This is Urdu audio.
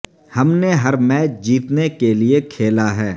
ہم نے ہر میچ جیتنے کے لیے کھیلا ہے